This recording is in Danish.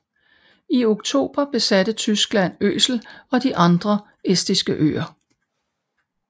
I oktober besatte Tyskland Øsel og de andre estiske øer